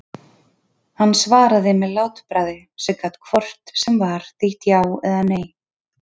Hann svaraði með látbragði sem gat hvort sem var þýtt já eða nei.